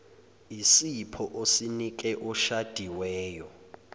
isipho osinike oshadiweyo